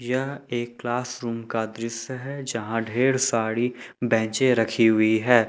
यह एक class room का दृश्य है जहां ढेर सारी बेंचे रखी हुई है।